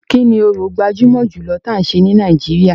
Kini orò gbajúmọ̀ jùlọ tí a ń ṣe ní Nàìjíríà.